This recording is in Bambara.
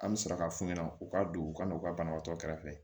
An bɛ sɔrɔ ka f'u ɲɛna u ka don u ka n'u ka banabaatɔ kɛrɛfɛ